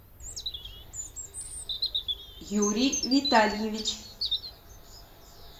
юрий витальевич